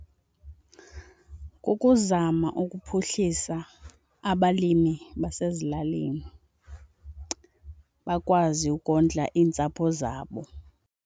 Kukuzama ukuphuhlisa abalimi basezilalini bakwazi ukondla iintsapho zabo.